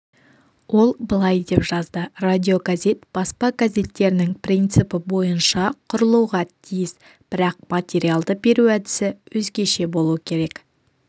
ол былай деп жазды радиогазет баспа газеттерінің принципі бойынша құрылуға тиіс бірақ материалды беру әдісі өзгеше болу керек